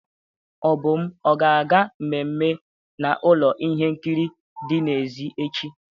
Obum ọ ga-aga mmemme na ụlọ ihe nkiri dị n'èzí echi?